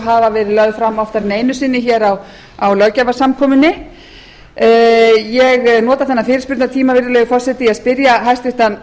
hafa verið lögð fram oftar en einu sinni á löggjafarsamkomunni ég nota þennan fyrirspurnatíma virðulegi forseti til að spyrja hæstvirtan